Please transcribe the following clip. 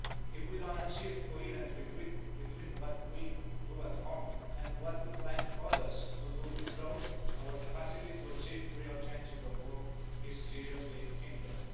If we don't achieve coherence between what we do at home and what we would like others to do abroad, our capacity to achieve real change in the world is seriously hindered.